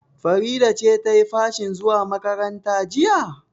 Farida ce ta yi fashin zuwa makaranta jiya?